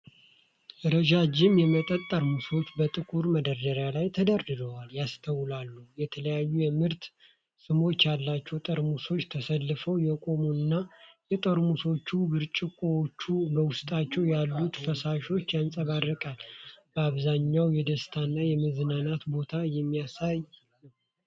ረዣዥም የመጠጥ ጠርሙሶች በጥቁር መደርደሪያ ላይ ተደርድረው ያስተዋላሉ። የተለያዩ የምርት ስሞች ያላቸው ጠርሙሶች ተሰልፈው የቆሙ እና፤ የጠርሙሶቹ ብርጭቆዎችና በውስጣቸው ያሉት ፈሳሾች ያንጸባርቃሉ። በአብዛኛው የደስታ እና የመዝናናት ቦታን የሚያሳይ ነው።